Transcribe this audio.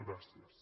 gràcies